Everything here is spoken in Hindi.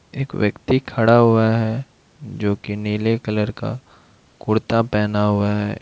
एक व्यक्ति खड़ा हुआ है जो की नील कलर का कुरता पहना हुआ है।